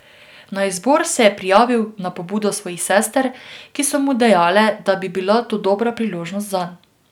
Na izbor se je prijavil na pobudo svojih sester, ki so mu dejale, da bi bila to dobra priložnost zanj.